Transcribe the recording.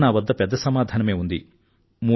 ఈవేళ నా వద్ద పెద్ద సమాధానమే ఉంది